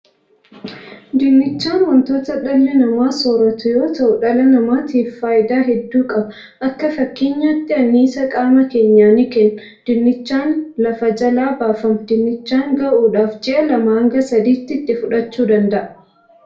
Dinnichaan wontoota dhalli namaa sooratu yoo ta'u dhala namaatiif faayidaa heddu qaba. Akka fakkeenyaatti anniisaa qamaa keenyaa ni kenna. Dinnichaan lafa jelaa baafama. Dinnichaan ga'uudhaaf ji'a lamaa hanga sadii itti fudhachuu danda'a.